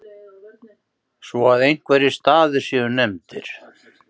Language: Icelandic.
svo að einhverjir staðir séu nefndir.